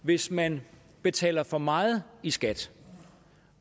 hvis man betaler for meget i skat